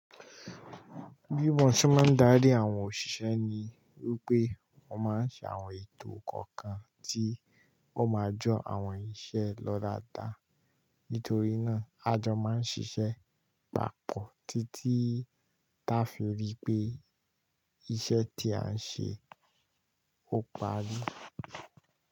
Bí mo ṣe máa ń dárí àwọn òṣìṣẹ́ ni wí pé mo máa ń ṣe àwọn ètò kọ̀ọ̀kan tí ó máa jẹ àwọn iṣẹ́ lọ dáadáa. Nítorí náà, àj a jọ máa ń ṣiṣẹ́ papọ̀ títí táa fi rí pé iṣẹ́ tí à ń ṣe ó parí.